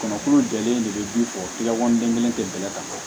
Kɔnɔkulu jɛlen de bɛ ji kɔ kelen kɛ bɛlɛ kan